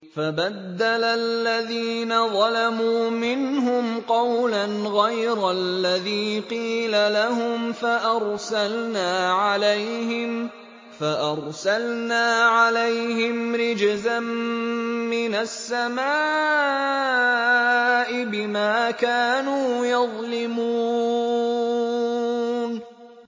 فَبَدَّلَ الَّذِينَ ظَلَمُوا مِنْهُمْ قَوْلًا غَيْرَ الَّذِي قِيلَ لَهُمْ فَأَرْسَلْنَا عَلَيْهِمْ رِجْزًا مِّنَ السَّمَاءِ بِمَا كَانُوا يَظْلِمُونَ